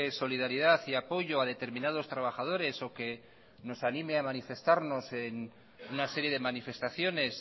solidaridad y apoyo a determinados trabajadores o que nos anime a manifestarnos en una serie de manifestaciones